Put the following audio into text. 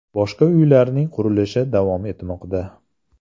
Boshqa uylarning qurilishi davom etmoqda.